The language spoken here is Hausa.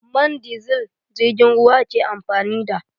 Man disil jirgin ruwa ke amfani da.